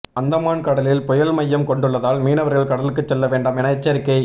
அந்தமான் கடலில் புயல் மையம் கொண்டுள்ளதால் மீனவர்கள் கடலுக்கு செல்ல வேண்டாம் என எச்சரிக்கை